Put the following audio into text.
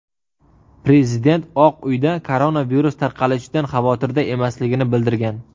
Prezident Oq uyda koronavirus tarqalishidan xavotirda emasligini bildirgan.